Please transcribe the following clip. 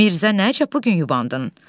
Mirzə, nə çox bu gün yubandın?